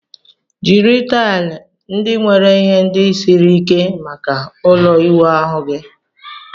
Jiri taịl ndị nwere ihe ndị siri ike maka ụlọ ịwụ ahu gị